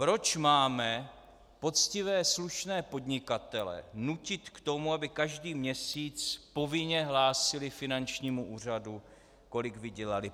Proč máme poctivé slušné podnikatele nutit k tomu, aby každý měsíc povinně hlásili finančnímu úřadu, kolik vydělali?